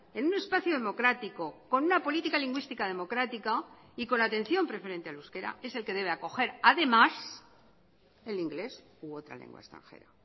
en un espacio democrático con una política lingüística democrática y con la atención preferente al euskera es el que debe acoger además el inglés u otra lengua extranjera